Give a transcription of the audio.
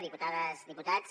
diputades diputats